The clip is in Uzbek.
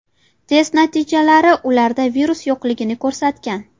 Test natijalari ularda virus yo‘qligini ko‘rsatgan.